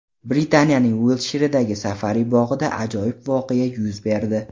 Britaniyaning Uiltshiredagi safari-bog‘ida ajoyib voqea yuz berdi.